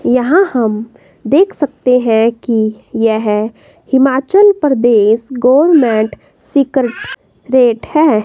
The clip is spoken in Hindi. यहां हम देख सकते हैं की यह Himachal Pradesh government vehicle rate है।